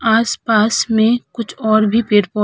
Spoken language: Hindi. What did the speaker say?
आस-पास में कुछ और भी पेड़ पौ --